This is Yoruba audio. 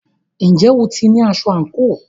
Ǹjẹ́ o ti ní aṣọ àǹkóò?